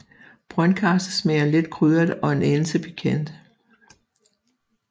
Brøndkarse smager let krydret og en anelse pikant